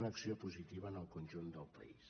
una acció positiva en el conjunt del país